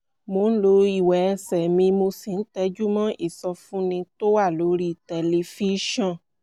mo ń lo ìwẹ̀ ẹsẹ̀ mi mo sì ń tẹjú mọ́ ìsọfúnni tó wà lórí tẹlifíṣọ̀n